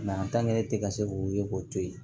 e tɛ ka se k'o ye k'o to yen